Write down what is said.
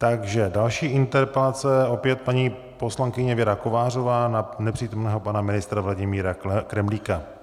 Takže další interpelace - opět paní poslankyně Věra Kovářová na nepřítomného pana ministra Vladimíra Kremlíka.